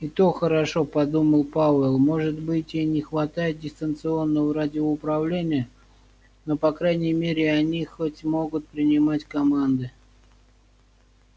и то хорошо подумал пауэлл может быть и не хватает дистанционного радиоуправления но по крайней мере они хоть могут принимать команды